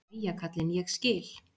Jæja kallinn, ég skil.